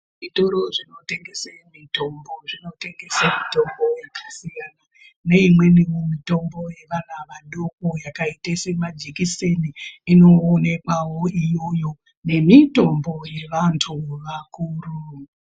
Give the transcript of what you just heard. Zvitoro zvinotengeswa mitombo zvinotengesa mitombo yakasiyana neimweni mitombo yevana vadoko yakaita semajekiseni inoonekwawo irimo iyoyo nemitombo yevantu vakuru.